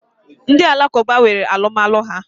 Ndi alakụba nwere alụmalụ ha.